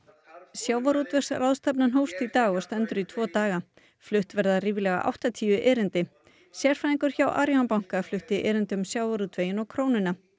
sjávarútvegsráðstefnan hófst í dag og stendur í tvo daga flutt verða ríflega áttatíu erindi sérfræðingur hjá Arion banka flutti erindi um sjávarútveginn og krónuna